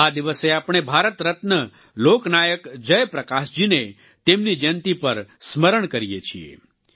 આ દિવસે આપણે ભારત રત્ન લોકનાયક જયપ્રકાશજીને તેમની જયંતિ પર સ્મરણ કરીએ છીએ